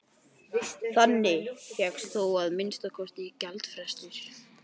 Þannig fékkst þó að minnsta kosti gjaldfrestur.